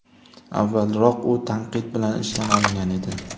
Avvalroq u tanqid bilan ishdan olingan edi.